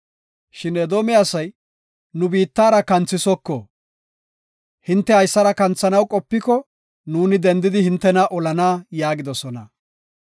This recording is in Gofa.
Shin Edoome asay, “Nu biittaara kanthisoko; hinte haysara kanthanaw qopiko, nuuni dendidi hintena olana” yaagidosona.